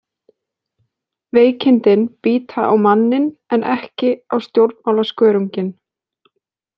Veikindin bíta á manninn en ekki á stjórnmálaskörunginn.